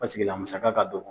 Pasekela musaka ka dɔgɔn